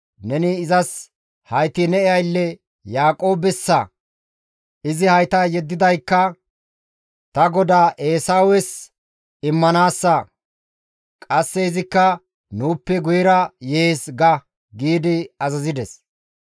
‹Neni izas hayti ne aylle Yaaqoobessa; izi hayta yeddidaykka ta godaa Eesawes immanaassa; qasse izikka nuuppe guyera yees› ga» gi azazides.